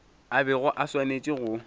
a bego a swanetše go